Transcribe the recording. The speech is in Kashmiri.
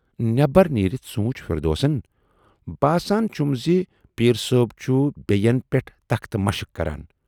نٮ۪برَ نیٖرِتھ سوٗنچ فِردوسن باسان چھُم زِ پیٖر صٲب چھُ بیین پٮ۪ٹھ تختہٕ مشق کَران